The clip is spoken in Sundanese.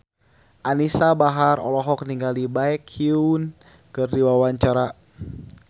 Anisa Bahar olohok ningali Baekhyun keur diwawancara